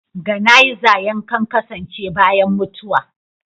Ganaiza yankan kasance bayan mutuwa.